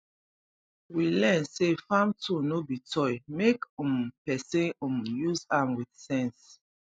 we learn say farm tool no be toy make um person um use am with sense